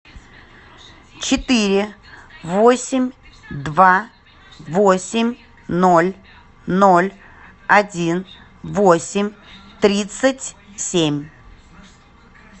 четыре восемь два восемь ноль ноль один восемь тридцать семь